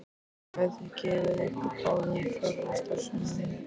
Það hefði gefið ykkur báðum fjarvistarsönnun.